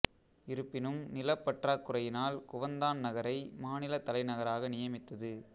இருப்பினும் நிலப் பற்றாக் குறையினால் குவந்தான் நகரை மாநிலத் தலைநகராக நியமித்தது